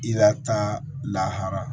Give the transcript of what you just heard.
I lata lahara